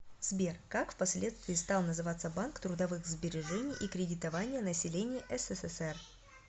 сбер как впоследствии стал называться банк трудовых сбережений и кредитования населения ссср